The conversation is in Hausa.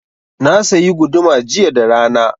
Na sayi guduma jiya da rana.